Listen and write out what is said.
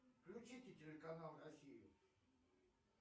включите телеканал россию